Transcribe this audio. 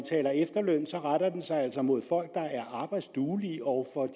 efterlønnen så retter den sig altså mod folk der er arbejdsduelige og for